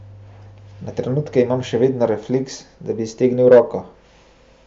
Na trenutke imam še vedno refleks, da bi iztegnil roko.